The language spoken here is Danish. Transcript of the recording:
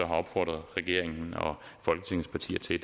har opfordret regeringen og folketingets partier til at